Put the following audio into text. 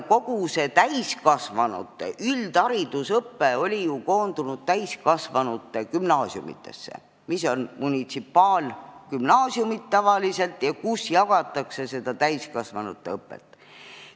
Kogu täiskasvanute üldharidusõpe oli ju koondunud täiskasvanute gümnaasiumidesse, mis on tavaliselt munitsipaalgümnaasiumid ja kus pakutakse täiskasvanute õpet.